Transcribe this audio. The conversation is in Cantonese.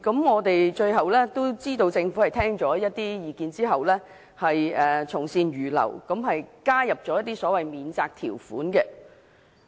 我們知道，政府最後聽取了部分意見，從善如流，加入一些免責條款。